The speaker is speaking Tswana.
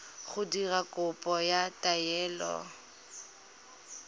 go dira kopo ya taelo